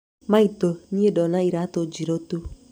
Maitũ niĩ ndona iratũ njirũ tu.